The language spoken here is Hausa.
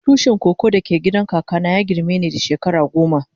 Tushin koko da ke gidan kaka na ya girme ni da shekara goma.